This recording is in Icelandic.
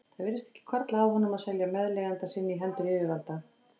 Það virtist ekki hvarfla að honum að selja meðleigjanda sinn í hendur yfirvalda.